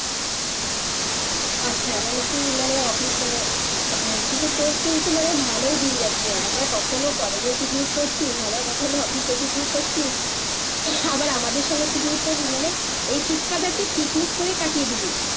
আচ্ছা মানে তুই মানে অফিস মানে একদিকে তোর কিন্তু মানে ভালোই দিন যাচ্ছে একবার কখনো কলেজের পিকনিক করছিস আবার কখনো অফিসের পিকনিক করছিস আবার আমদের সঙ্গে পিকনিক করবি মানে এই শীতকালটা তুই পিকনিক করেই কাটিয়ে দিবি